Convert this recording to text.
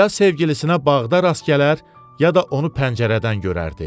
Ya sevgilisinə bağda rast gələr, ya da onu pəncərədən görərdi.